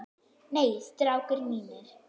Nei, strákar mínir.